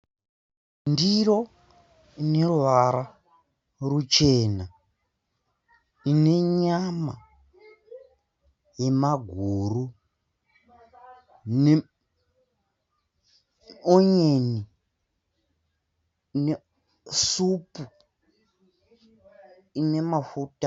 Ndiro ineruvara ruchena, ine nyama nemaguru. Ine onyeni inesupu inemafuta.